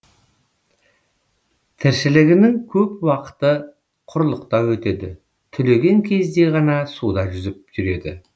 тіршілігінің көп уақыты құрлықта өтеді түлеген кезде ғана суда жүзіп жүреді